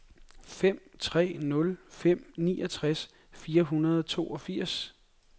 fem tre nul fem niogtres fire hundrede og toogfirs